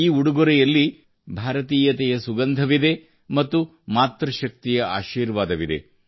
ಈ ಉಡುಗೊರೆಯಲ್ಲಿ ಭಾರತೀಯತೆಯ ಸುಗಂಧವಿದೆ ಮತ್ತು ಮಾತೃ ಶಕ್ತಿಯ ಆಶೀರ್ವಾದವಿದೆ